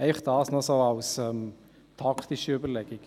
Dies noch so als taktische Überlegung.